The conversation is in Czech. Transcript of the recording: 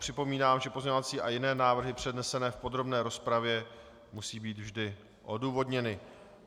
Připomínám, že pozměňovací a jiné návrhy přednesené v podrobné rozpravě musí být vždy odůvodněny.